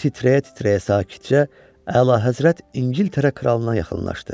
O titrəyə-titrəyə sakitcə əlahəzrət İngiltərə kralına yaxınlaşdı.